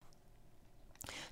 TV 2